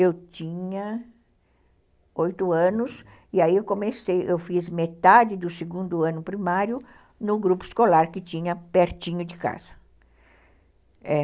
Eu tinha oito anos e aí eu comecei, eu fiz metade do segundo ano primário no grupo escolar que tinha pertinho de casa.